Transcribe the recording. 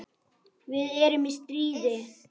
Við erum í stríði.